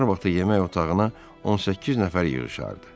Nahar vaxtı yemək otağına 18 nəfər yığışardı.